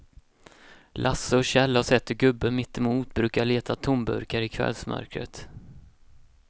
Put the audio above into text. Lasse och Kjell har sett hur gubben mittemot brukar leta tomburkar i kvällsmörkret.